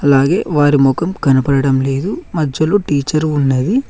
అలాగే వారి ముఖం కనబడడం లేదు మధ్యలో టీచర్ ఉన్నది.